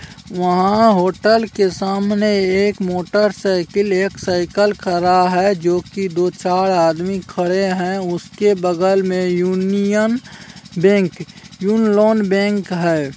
वहां होटल के सामने एक मोटर साइकिल एक साइकिल खड़ा है जो कि दो चार आदमी खड़े है उसके बगल मे यूनियन बैंक यून लोन बैंक है।